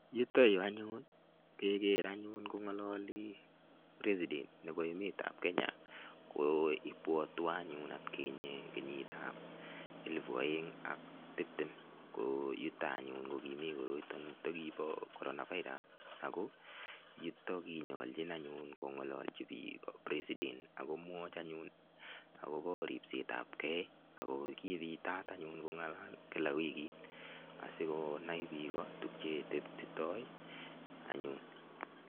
Yuto yu anyun keger anyun kong'alali, President nebo emetab Kenya. Ko ibwotwon anyun atkinye kenyitab elepu oeng ak tiptem ko yuto anyun ko kimi koroito kibo corona virus ago yuto ko kinyaljin anyun kongalalji biik President ak komwach anyun agobo ripsetabkei ago kipitat anyun kong'alal kila wigit asigonai biik tukcheteptitoi anyun.